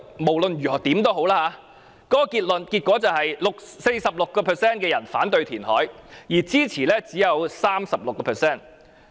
無論如何，該調查結果顯示 ，46% 受訪者反對填海，而支持者只有 36%。